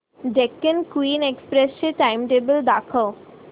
Deccan Queen Express चे timetable दाखव